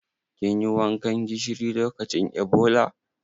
Kin yi wankan gishiri lokacin Ebola?